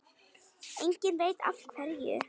Enginn veit af hverju.